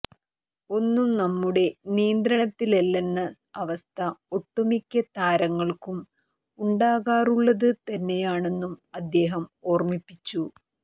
ഒന്നും നമ്മുടെ നിയന്ത്രണത്തിലല്ലെന്ന അവസ്ഥ ഒട്ടുമിക്ക താരങ്ങൾക്കും ഉണ്ടാകാറുള്ളത് തന്നെയാണെന്നും അദ്ദേഹം ഓർമ്മിപ്പിച്ചു